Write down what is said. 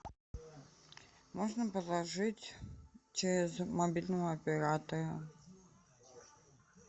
можно положить через мобильного оператора